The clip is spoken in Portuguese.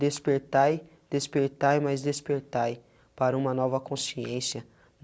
Despertai, despertai e mais despertai para uma nova consciência.